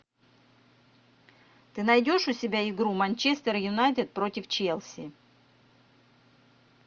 ты найдешь у себя игру манчестер юнайтед против челси